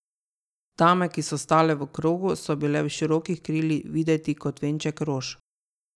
Dame, ki so stale v krogu, so bile v širokih krilih videti kot venček rož.